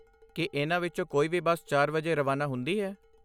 ਕੀ ਇਹਨਾਂ ਵਿੱਚੋਂ ਕੋਈ ਵੀ ਬੱਸ ਚਾਰ ਵਜੇ ਰਵਾਨਾ ਹੁੰਦੀ ਹੈ?